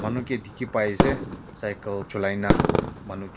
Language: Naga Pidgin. manu ke dekhi pai ase cycle cholai na manu--